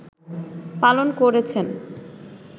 পালন করেছেন